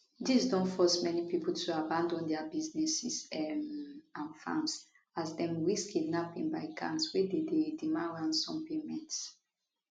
dis don force many pipo to abandon dia businesses um and farms as dem risk kidnapping by gangs wey dey dey demand ransom payments